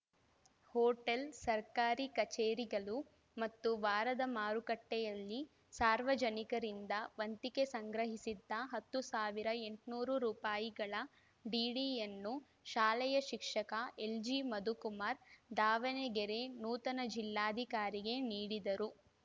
hotel ಸರ್ಕಾರಿ ಕಚೇರಿಗಳು ಮತ್ತು ವಾರದ ಮಾರುಕಟ್ಟೆಯಲ್ಲಿ ಸಾರ್ವಜನಿಕರಿಂದ ವಂತಿಕೆ ಸಂಗ್ರಹಿಸಿದ್ದ ಹತ್ತು ಸಾವಿರ ಎಂಟುನೂರು ರೂಪಾಯಿಗಳ ಡಿಡಿಯನ್ನು ಶಾಲೆಯ ಶಿಕ್ಷಕ ಎಲ್‌ಜಿಮಧುಕುಮಾರ್‌ ದಾವಣಗೆರೆ ನೂತನ ಜಿಲ್ಲಾಧಿಕಾರಿಗೆ ನೀಡಿದರು